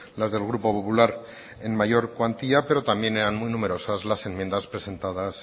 las del grupo popular en mayor cuantía pero también eran muy numerosas las enmiendas presentadas